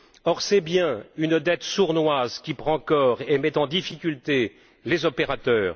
Or, c'est bien une dette sournoise qui prend corps et met en difficulté les opérateurs.